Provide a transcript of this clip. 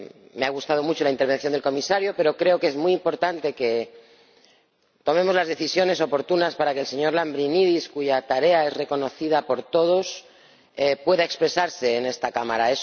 Me ha gustado mucho la intervención del comisario, pero creo que es muy importante que tomemos las decisiones oportunas para que el señor Lambrinidis —cuya tarea es reconocida por todos— pueda expresarse en esta Cámara.